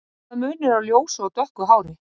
Hvaða munur er á ljósu og dökku hári?